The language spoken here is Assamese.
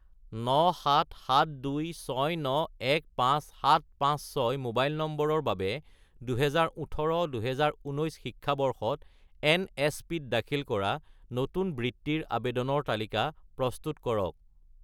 97726915756 মোবাইল নম্বৰৰ বাবে 2018 - 2019 শিক্ষাবৰ্ষত এনএছপি-ত দাখিল কৰা নতুন বৃত্তিৰ আবেদনৰ তালিকা প্ৰস্তুত কৰক